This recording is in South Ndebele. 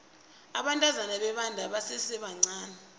abantazana bebenda basesebancani